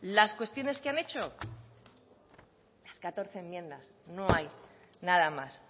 las cuestiones que han hecho catorce enmiendas no hay nada más